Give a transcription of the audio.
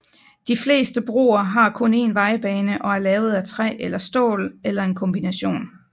De fleste broer har kun en vejbane og er lavet af træ eller stål eller en kombination